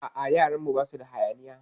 A'a, yaran mu basu da hayaniya.